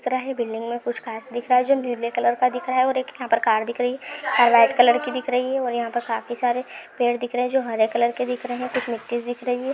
Building में कुछ खास दिख रहा है जो नीले कलर का दिख रहा है और एक यहाँ पे कार दिख रही है व्हाइट कलर की दिख रही है और यहाँ पे खाफी सारे पेड़ दिख रहे जो हरे कलर के दिख रहे है कुछ मिट्टि दिख रही है।